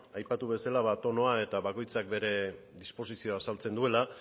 aipatu bezala ba tonoa eta bakoitzak bere disposizioa azaltzen duela